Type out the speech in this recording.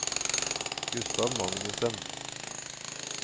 Gustav Magnussen